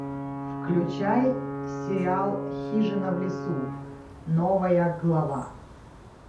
включай сериал хижина в лесу новая глава